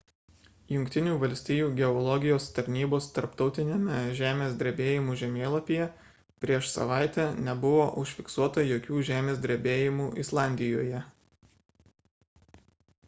jungtinių valstijų geologijos tarnybos tarptautiniame žemės drebėjimų žemėlapyje prieš savaitę nebuvo užfiksuota jokių žemės drebėjimų islandijoje